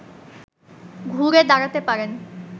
ঘুরে দাঁড়াতে পারেন